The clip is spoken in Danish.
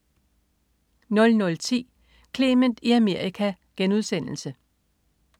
00.10 Clement i Amerika*